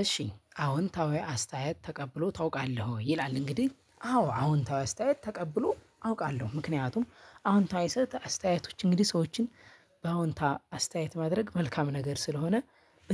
እሺ አዎንታዊ አስተያየት ተቀብሎ ታውቃለህ ወይ? ይላል እንግዲህ አዎ አዎንታዊ አስተያየት ተቀብሎ አውቃለሁ ምክንያቱም አዎንታዊ አስተያየቶች እንግዲህ ሰዎችን በአዎንታ አስተያየት ማድረግ መልካም ነገር ስለሆነ